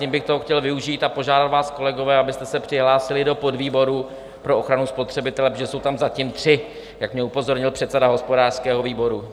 Tím bych toho chtěl využít a požádat vás, kolegové, abyste se přihlásili do podvýboru pro ochranu spotřebitele, protože jsou tam zatím tři, jak mě upozornil předseda hospodářského výboru.